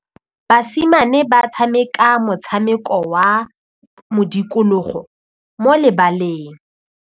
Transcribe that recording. Basimane ba tshameka motshameko wa modikologô mo lebaleng.